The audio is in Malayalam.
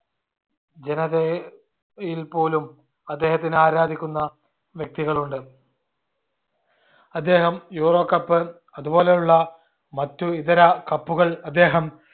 ജനതയെ യിൽപോലും അദ്ദേഹത്തിനെ ആരാധിക്കുന്ന വ്യക്തികളുണ്ട്. അദ്ദേഹം euro cup അത് പോലെയുള്ള മറ്റു ഇതര cup ഉകൾ അദ്ദേഹം